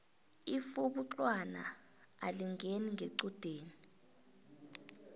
ifjhubuxwana alingeni ngequdeni